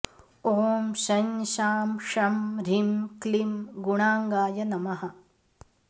ॐ शं शां षं ह्रीं क्लीं गुणाङ्गाय नमः